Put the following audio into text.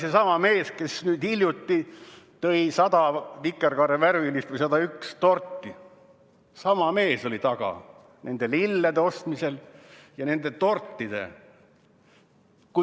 Seesama mees, kes nüüd hiljuti tõi 101 vikerkaarevärvilist torti, oli nende lillede ostmise taga.